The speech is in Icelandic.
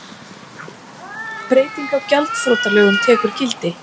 Breyting á gjaldþrotalögum tekur gildi